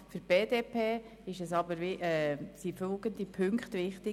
Für die BDP-Fraktion sind aber folgende Punkte wichtig: